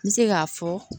N bɛ se k'a fɔ